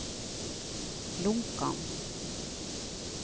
Lonkan